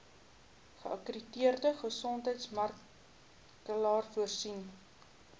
geakkrediteerde gesondheidsorgmakelaar voorsien